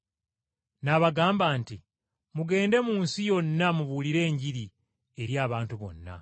N’abagamba nti, “Mugende mu nsi yonna mubuulire Enjiri eri abantu bonna.